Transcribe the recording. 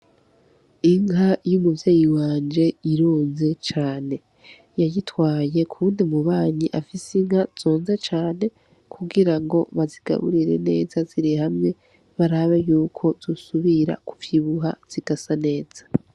Inka y'umuvyeyi wanje ironze cane, yayitwaye kuwundi mubanyi afise inka zonze cane kugirango bazigaburire neza ziri hamwe barabe yuko zosubira kuvyibuha zigasa neza.